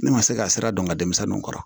Ne ma se ka sira dɔn n ka denmisɛnninw kɔrɔ